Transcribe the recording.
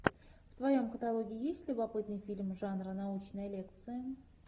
в твоем каталоге есть любопытный фильм жанра научная лекция